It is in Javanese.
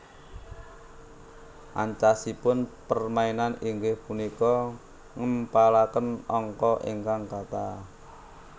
Ancasipun permainan inggih punika ngèmpalakèn angka ingkang katah